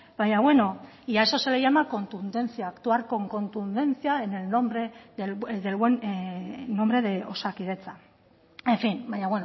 baina bueno y a eso se le llama contundencia actuar con contundencia en el buen nombre de osakidetza en fin baina